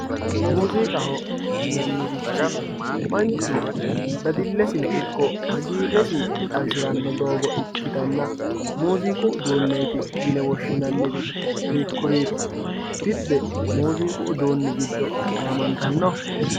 muuziiqaho yinannirichi manchu dadillesino ikko hagiirresi xawisiranno doogo ikkitanna muuziiqu uduunneeti yine woshshinanniri hiikkuriiti dibbe muuziiqu uduunni giddo gaamantanno.